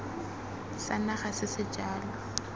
sa naga se se jalo